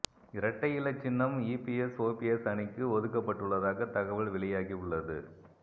இரட்டை இலை சின்னம் இபிஎஸ் ஒபிஎஸ் அணிக்கு ஒதுக்கப்படுள்ளதாக தகவல் வெளியாகி உள்ளது